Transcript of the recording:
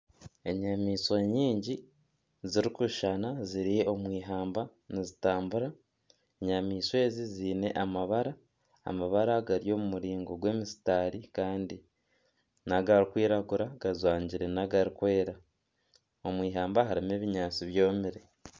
Enyamaishwa nyingi ziri kushushana ziri omu ihamba nizitambura. Enyamaishwa ezi ziine amabara. Amabara gari omu miringo y'emisitaari kandi ni agari kwiragura gajwangire n'agarikwera. Omu ihamba harimu ebinyaatsi byomire.